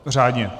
Řádně.